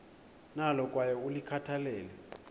nalo kwaye ulikhathalele